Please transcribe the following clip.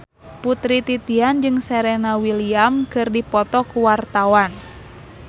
Putri Titian jeung Serena Williams keur dipoto ku wartawan